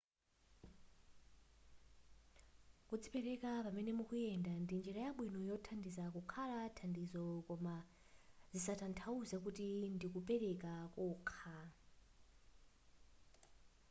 kudzipereka pamene mukuyenda ndi njira yabwino yothandiza kukhala thandizo koma sizitathauza kuti ndikupeleka kokha